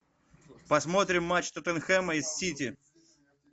посмотрим матч тоттенхэма и сити